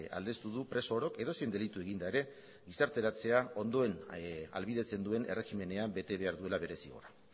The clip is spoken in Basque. aldeztu du preso orok edozein delitu eginda ere gizarteratzea ondoen ahalbidetzen duen erregimenean bete behar duela bere zigorra